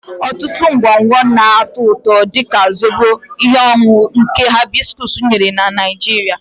Ọtụtụ ngwongwo na-atọ ụtọ, dị ka Zobo, ihe ọṅụṅụ nke hibiscus nyere na Nigeria.